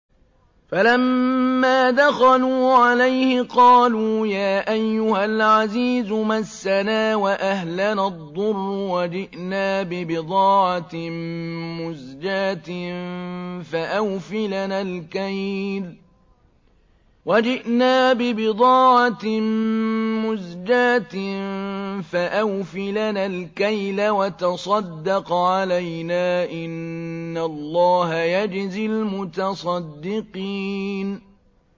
فَلَمَّا دَخَلُوا عَلَيْهِ قَالُوا يَا أَيُّهَا الْعَزِيزُ مَسَّنَا وَأَهْلَنَا الضُّرُّ وَجِئْنَا بِبِضَاعَةٍ مُّزْجَاةٍ فَأَوْفِ لَنَا الْكَيْلَ وَتَصَدَّقْ عَلَيْنَا ۖ إِنَّ اللَّهَ يَجْزِي الْمُتَصَدِّقِينَ